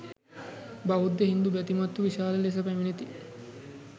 බෞද්ධ හින්දු බැතිමත්හු විශාල ලෙස පැමිණේති.